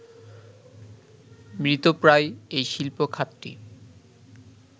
মৃতপ্রায় এই শিল্প খাতটি